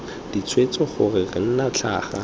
ditshwetso gore re nna tlhaga